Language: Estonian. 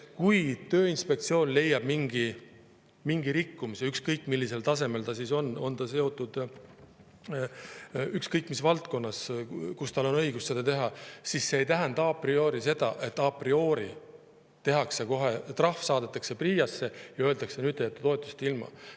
Kui Tööinspektsioon leiab mingi rikkumise, ükskõik millisel tasemel see on, ükskõik mis valdkonnas, kus Tööinspektsioonil on õigus, siis see ei tähenda a priori, et tehakse kohe trahv, saadetakse PRIA-sse ja öeldakse, et nüüd jääd sa toetusest ilma.